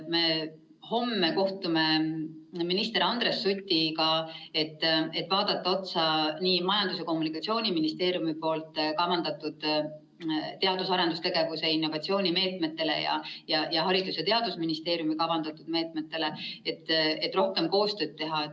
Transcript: Me homme kohtume minister Andres Sutiga, et vaadata Majandus‑ ja Kommunikatsiooniministeeriumi kavandatud teadus‑ ja arendustegevuse innovatsioonimeetmeid ning Haridus‑ ja Teadusministeeriumi kavandatud meetmeid, et rohkem koostööd teha.